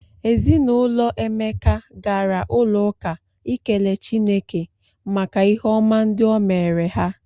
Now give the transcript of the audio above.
Ezi na ụlọ Emeka gara ụlọụka ikele Chineke maka ihe ọma ndị o meere ha.